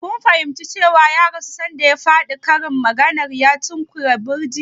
Kun fahimci cewa ya rasu sanda ya faɗi karin maganar "ya tunkuyi birji"?